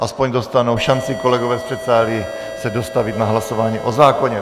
Aspoň dostanou šanci kolegové z předsálí se dostavit na hlasování o zákoně.